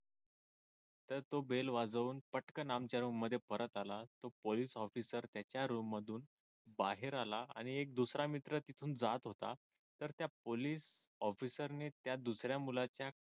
तर तो वेळ bell वाजवून पटकन आमच्या रूममध्ये परत आला पोलिस officer ने त्या रूममधून बाहेर आला आणि एक दुसरा मित्र तिथून जात होता तर त्या पोलिस officer ने त्या दुसऱ्या मुलाच्या